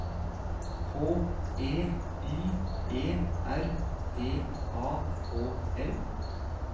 H E Y E R D A H L